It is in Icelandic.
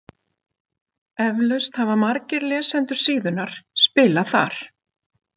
Eflaust hafa margir lesendur síðunnar spilað þar.